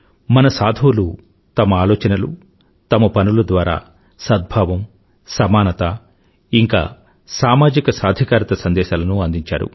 మన సాధువులు తమ ఆలోచనలు తమ పనుల ద్వారా సద్భావం సమానత ఇంకా సామాజిక సాధికారత సందేశాలను అందించారు